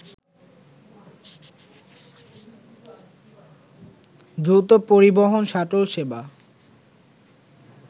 দ্রুত পরিবহন শাটল সেবা